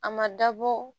A ma dabɔ